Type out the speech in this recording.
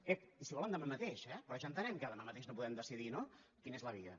ep i si volen demà mateix eh però ja entenem que demà mateix no podem decidir no quina és la via